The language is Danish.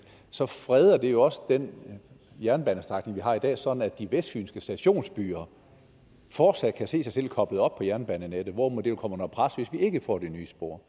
så freder det jo også den jernbanestrækning vi har i dag sådan at de vestfynske stationsbyer fortsat kan se sig selv koblet op på jernbanenettet hvorimod de jo kommer under pres hvis vi ikke får det nye spor